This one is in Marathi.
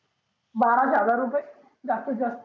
बाराशे हजार रुपये जास्तीत जास्त.